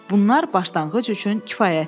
Bunlar başlanğıc üçün kifayətdir.